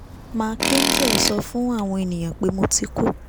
mark angel sọ fún àwọn ènìyàn pé mo ti kú